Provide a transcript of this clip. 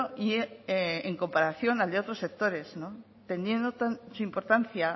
y en comparación al de otros sectores teniendo su importancia